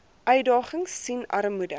uitdagings sien armoede